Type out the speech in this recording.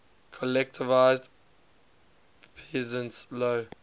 collectivized peasants low